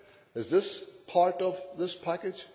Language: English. Is that part of this package?